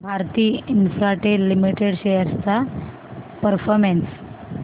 Bharti Infratel limited shares चा performance